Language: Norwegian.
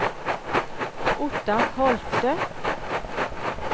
Ottar Holte